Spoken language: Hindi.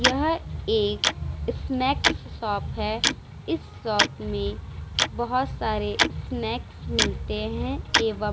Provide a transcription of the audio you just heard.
यह एक स्नैक्स शॉप है इस शॉप में बहुत सारे स्नैक्स मिलते है एवं --